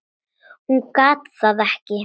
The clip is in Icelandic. Hún gat það ekki.